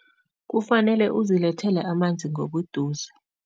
Kufanele uzilethele amanzi ngobuduze.